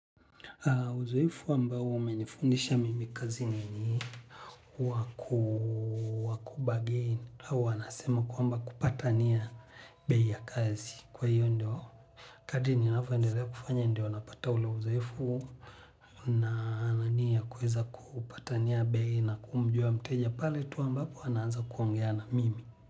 Uzoefu ambao umenifundisha mimi kazi ni wa ku wakubagein au wanasema kwamba kupata nia bei ya kazi kwa hiyo ndio kati ninavyoendelea kufanya ndio napata ule uzoefu na nia kuweza kupata nia bei na kumjua mteja pale tu ambapo anaanza kuongea na mimi.